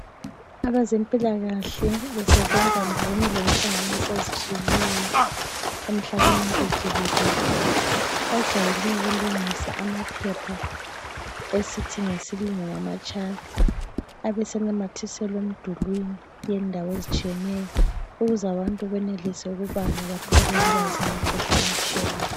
Abezempilakahle besebenza ndawonye lenhlanganiso ezitshiyeneyo umhlabeni wonke jikelele. Bajwayele ukulungisa amaphepha esithi ngesilungu ngama (charts). Besebenamathisela emdulini ukuze abantu benelise ukubala bathole ulwazi ngemikhuhlane etshiyeneyo.